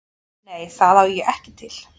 Nei, það á ég ekki til.